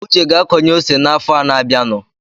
Uche ga-akọnye ose n’afọ a na-abianụ